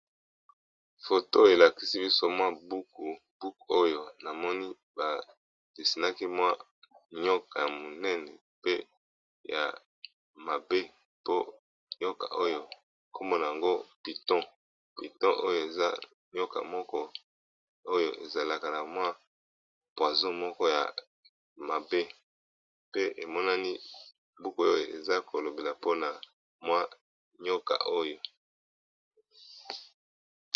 Photo elakisi biso mwa ukubuok oyo na moni badesinaki mwa nyoka y monene pe ya mabe po nyoka oyo kombona yango piton piton oyo eza nyoka moko oyo ezalaka na mwa poiso moko ya mabe pe emonani buku oyo eza kolobela mpona mwa nyoka oyo.